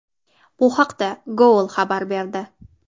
Bu haqda Goal xabar berdi .